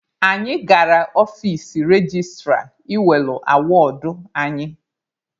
Anyị gara ọfici registra ị welụ awọdụ anyị.